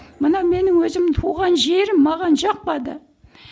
мына менің өзім туған жерім маған жақпады